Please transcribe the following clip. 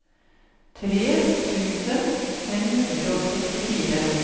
tre tusen fem hundre og sekstifire